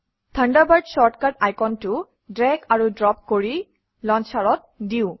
Thunderbird shortcut আইকনটো drag আৰু drop কৰি লঞ্চাৰত দিওঁ